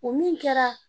O min kɛra